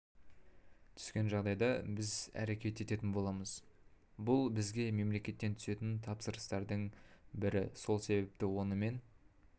түскен жағдайда біз әрекет ететін болмамыз бұл бізге мемлекеттен түсетін тапсырыстардың бір сол себепті онымен